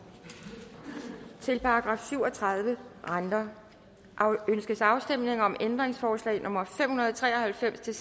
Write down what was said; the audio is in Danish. til § syv og tredive renter ønskes afstemning om ændringsforslag nummer fem hundrede og tre og halvfems til